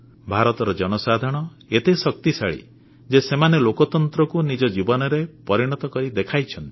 ଭାରତର ଜନସାଧାରଣ ଏତେ ଶକ୍ତିଶାଳୀ ଯେ ସେମାନେ ଲୋକତନ୍ତ୍ରକୁ ନିଜ ଜୀବନରେ ପରିଣତ କରି ଦେଖାଇଛନ୍ତି